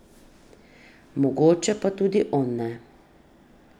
Mogoče pa tudi on ne.